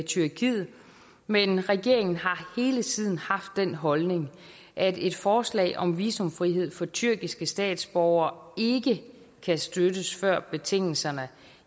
tyrkiet men regeringen har hele tiden haft den holdning at et forslag om visumfrihed for tyrkiske statsborgere ikke kan støttes før betingelserne